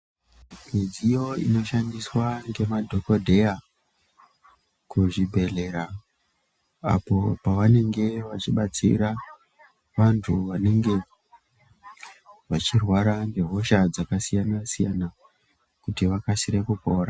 Midziyo inoshandiswa ngemadhokodheya kuzvibhedhlera apo pavenenge vachibetsera vantu vanenge vachirwara ngehosha dzakasiyana siyana kuti vakasire kupora.